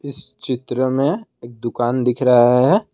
इस चित्र में एक दुकान दिख रहा है।